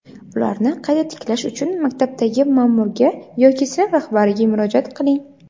ularni qayta tiklash uchun maktabdagi ma’murga yoki sinf rahbariga murojaat qiling.